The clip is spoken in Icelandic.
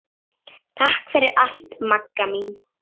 Takk fyrir allt Magga mín.